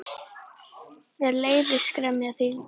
Mér leiðist gremja þín.